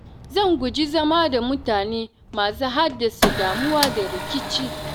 Zan guji zama da mutane masu haddasa damuwa da rikici.